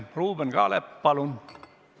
Ruuben Kaalep, palun!